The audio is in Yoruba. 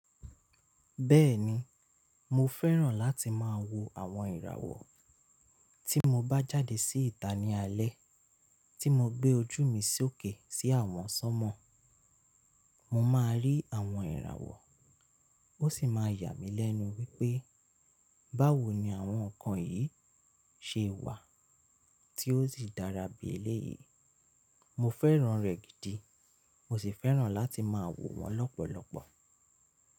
Bẹ́ẹ̀ni, mo fẹ́ràn láti máa wo àwọn ìràwọ̀. Tí mo bá jáde sí ìta ní alẹ́, tí mo gbé ojú mi sókè sí àwọn sọ́mọ, mo máa rí àwọn ìràwọ̀, ó sì máa yà mí lẹ́nu wípé báwo ni àwọn nǹkan yìí ṣe wà tí ó sì dára bí eléyìí. Mo fẹ́ràn rẹ̀ gidi, mo sì fẹ́ràn láti máa wò wọ́n lọ́pọ̀lọpọ̀.